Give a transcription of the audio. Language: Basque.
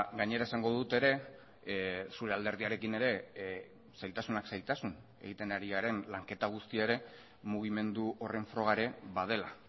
gainera esango dut ere zure alderdiarekin ere zailtasunak zailtasun egiten ari garen lanketa guztia ere mugimendu horren froga ere badela